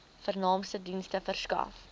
vernaamste dienste verskaf